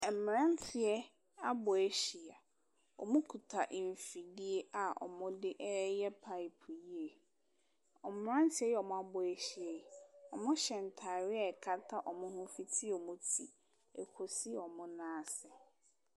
Mmeranteɛ abɔ ahyia. Wɔkita mfidie a wɔde reyɛ pipe yie. Wɔ mmeranteɛ yi a wɔabɔ ahyia yi, wɔhyɛ ntadeɛ a ɛkata wɔn ho fiti wɔn ti kɔsi wɔn nan ase.